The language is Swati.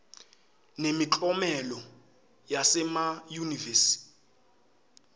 nemiklomelo yasema yunivesi